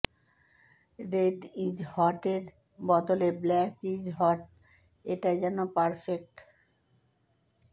red is hot এর বদলে black is hot এটাই যেন পারফেক্ট